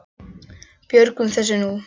Við björgum þessu nú.